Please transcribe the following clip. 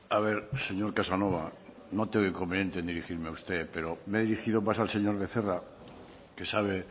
a ver señor casanova no tengo inconveniente en dirigirme a usted pero me he dirigido más al señor becerra que sabe